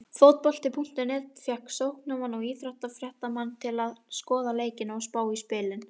Fótbolti.net fékk sóknarmanninn og íþróttafréttamanninn til að skoða leikina og spá í spilin.